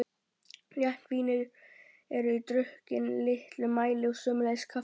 Létt vín eru drukkin í litlum mæli og sömuleiðis kaffi.